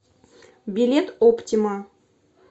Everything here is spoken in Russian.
билет оптима